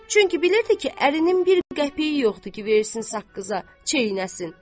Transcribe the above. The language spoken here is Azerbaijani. Çünki bilirdi ki, ərinin bir qəpiyi yoxdur ki, versin saqqıza çeynəsin.